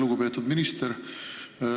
Lugupeetud minister!